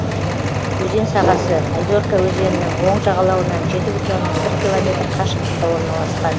өзен сағасы озерка өзенінің оң жағалауынан жеті бүтін оннан бір километр қашықтықта орналасқан